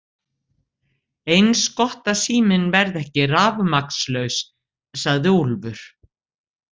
Eins gott að síminn verði ekki rafmagnslaus, sagði Úlfur.